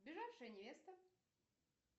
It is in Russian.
сбежавшая невеста